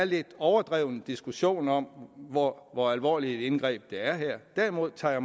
lidt overdrevet diskussion om hvor hvor alvorligt et indgreb det er derimod tager